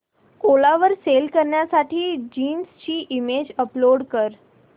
ओला वर सेल करण्यासाठी जीन्स ची इमेज अपलोड कर